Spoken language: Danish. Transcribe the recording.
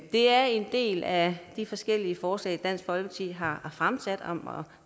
er en del af de forskellige forslag dansk folkeparti har fremsat om